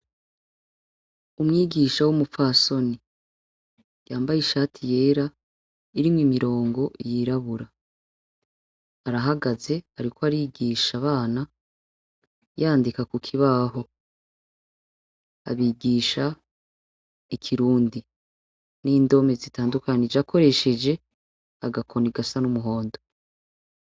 Umwigisha w'umupfasoni ,yambaye ishati yera ,irimwo imirongo yirabura, arahagaze ariko arigisha abana , yandika kukibaho. Abigisha ikirundi ,n'indome zitandukanije akoresheje agakoni gasa n'umuhondo.